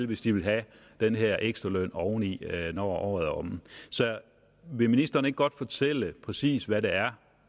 hvis de vil have den her ekstra løn oveni når året er omme så vil ministeren ikke godt fortælle præcis hvad det er